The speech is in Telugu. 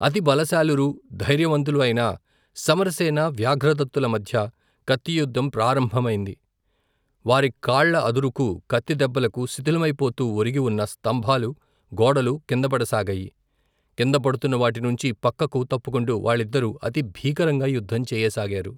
అతి బలశాలురు ధైర్యవంతులు అయిన సమరసేన వ్యాఘ్రదత్తుల మధ్య కత్తియుద్ధం ప్రాంరంభమైంది వారి కాళ్ళ అదురుకు కత్తిదెబ్బలకు శిథిలమైపోతూ ఒరిగివున్న స్తంభాలు గోడలు కిందపడసాగాయి కిందపడుతున్న వాటినుంచి పక్కకు తప్పుకుంటు వాళ్ళిద్దరు అతి భీకరంగా యుద్ధం చేయసాగారు.